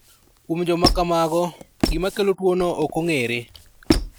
Kuom joma kamago, gima kelo tuwono ok ong'ere.